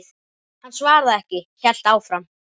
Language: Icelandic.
Hann svaraði ekki, hélt áfram.